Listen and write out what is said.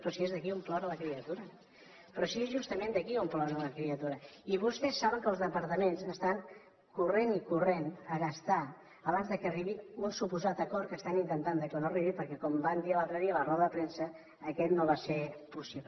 però si és d’aquí d’on plora la criatura però si és justament d’aquí d’on plora la criatura i vostès saben que els departaments estan corrent i corrent a gastar abans que arribi un suposat acord que estan intentant que no arribi perquè com van dir l’altre dia a la roda de premsa aquest no va ser possible